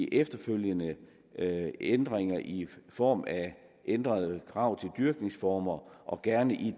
efterfølgende ændringer i form af ændrede krav til dyrkningsformer og gerne i